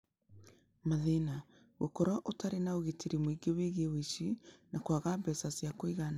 Mathĩna: Gũkorũo ũtarĩ na ũgitĩri mũingĩ wĩgiĩ ũici, na kwaga mbeca cia kũigana.